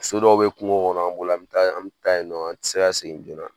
So dɔw bɛ kungo kɔnɔ an bolo an an bɛ taa yen nɔ an tɛ se ka segin joona